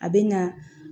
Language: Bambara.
A bɛ na